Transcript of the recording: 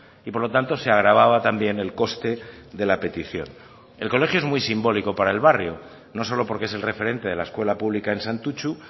y por lo tanto se agravaba también el coste de la petición el colegio es muy simbólico para el barrio no solo porque es el referente de la escuela pública en santutxu